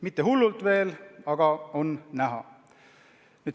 Mitte hullult veel, aga kasv on näha.